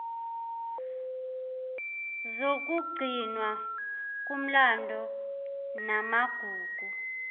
zokugcinwa komlando namagugu